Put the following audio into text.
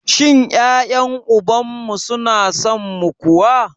Shin ƴaƴen uban mu su na son mu kuwa?